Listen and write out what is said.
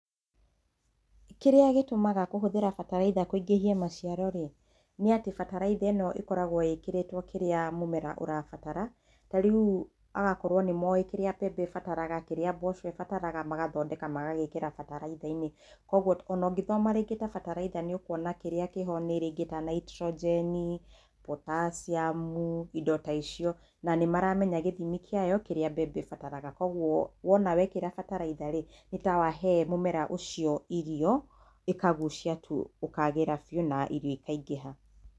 Kĩrĩa gĩtũmaga kũhũthĩra bataraitha kũingĩhie maciaro-rĩ, nĩ atĩ bataraitha ĩno ĩkoragwo ĩkĩrĩtwo kĩrĩa mũmera ũrabatara, ta rĩu agakoragwo nĩ moĩ kĩrĩa mbembe ĩrabatara, kĩrĩa mboco ĩrabatara, magathondeka magagĩkĩra bataraitha-inĩ, koguo ona ũngĩthoma rĩngĩ ta bataraitha nĩ ũkuona kĩrĩa kĩho nĩ rĩngĩ ta Nitrogen, potassium indo ta icio, na nĩ maramenya gĩthimi kĩayo, kĩrĩa mbembe ibataraga, koguo wona wekĩra bataraitha-rĩ, nĩ ta wahe mũmera ũcio irio, ĩkagucia tu ũkagĩra biũ na irio ikaingĩha.